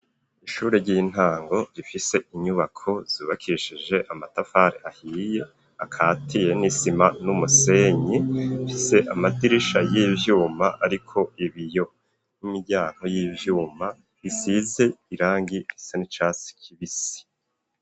Ishuri ry'intango rifise inyubako zubakishije amatafari ahiye akatiye n'isima n'umusenyi, rifise amadirisha y'ivyuma ariko ibiyo, n'imiryango y'ivyuma isize irangi risa n' icatsi kibisi.